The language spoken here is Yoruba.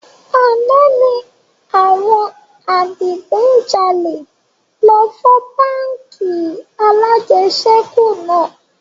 Àná ni àwọn adigun jalè lọ fọ́ báńkì alajẹsẹ́kù náà